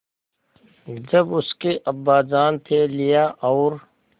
जब उसके अब्बाजान थैलियाँ और